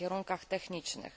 na kierunkach technicznych.